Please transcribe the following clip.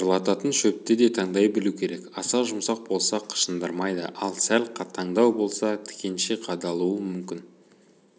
жыбырлататын шөпті де таңдай білу керек аса жұмсақ болса қышындырмайды ал сәл қатаңдау болса тікенше қадалуы мүмкін